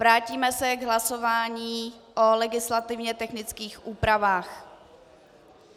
Vrátíme se k hlasování o legislativně technických úpravách.